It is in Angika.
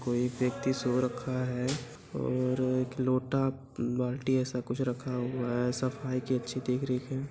कोई एक व्यक्ति सो रखा है और एक लोटा बाल्टी ऐसा कुछ रखा हुआ है | सफाई की अच्छी देख रेख है।